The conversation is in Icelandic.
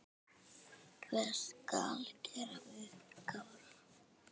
Hvað skal gera við Kára?